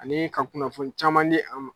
Ani ka kunnafoni caman di an ma.